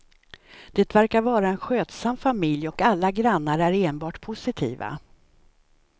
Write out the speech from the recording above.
Det verkar vara en skötsam familj och alla grannar är enbart positiva.